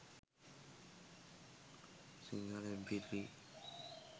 sinhala mp3